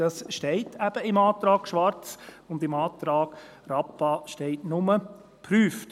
Das steht eben im Antrag Schwarz, und im Antrag Rappa steht nur «prüft».